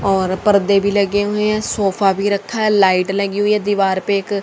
और पर्दे भी लगे हुए हैं सोफा भी रखा है लाइट लगी हुई है दीवार पे एक--